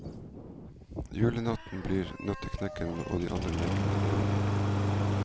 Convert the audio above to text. Julenatten blir nøtteknekkeren og de andre lekene levende.